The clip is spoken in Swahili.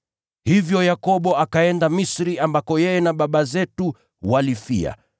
Hivyo Yakobo akaenda Misri ambako yeye na baba zetu walifia.